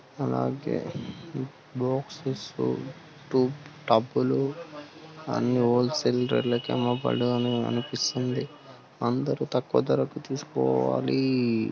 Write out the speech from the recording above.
అలాగే boxes to tub లు అన్ని హోల్సేల్ రేట్ ల కేమో బయట కనిపిస్తుంది అందరూ తక్కువ ధరకు తీసుకోవాలి.